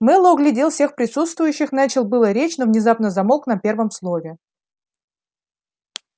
мэллоу оглядел всех присутствующих начал было речь но внезапно замолк на первом слове